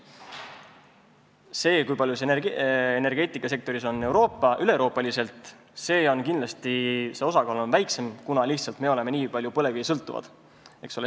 See osakaal üle Euroopa on kindlasti väiksem, meie oleme lihtsalt nii palju põlevkivist sõltuvad.